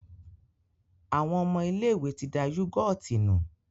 Àwọn ọmọ ilé-ìwé ti da yúgọ́ọ̀tì nù.